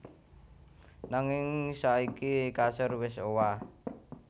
Nanging saiki kasur wis owah